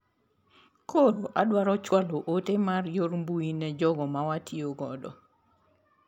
Koro adwaro chwalo ote mar yor mbui ne jogo ma watiyo godo.